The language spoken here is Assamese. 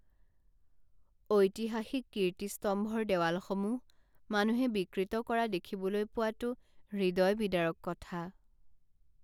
ঐতিহাসিক কীৰ্তিস্তম্ভৰ দেৱালসমূহ মানুহে বিকৃত কৰা দেখিবলৈ পোৱাটো হৃদয় বিদাৰক কথা